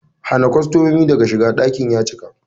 Hana kostomomi daga shiga, ɗakin ya cika!